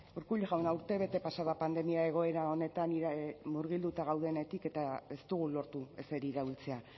urkullu jauna urtebete pasa da pandemia egoera honetan murgilduta gaudenetik eta ez dugu lortu ezer iraultzea